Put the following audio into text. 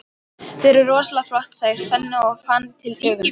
Þau eru rosalega flott, sagði Svenni og fann til öfundar.